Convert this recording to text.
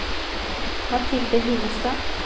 Mathilde Hillestad